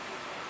Ok.